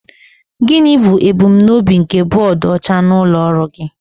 Gịnị bụ ebumnobi nke bọọdụ ọcha n'ụlọ ọrụ gị?